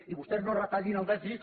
i vostès no retallin el dèficit